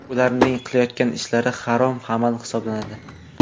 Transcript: Ularning qilayotgan ishlari harom amal hisoblanadi.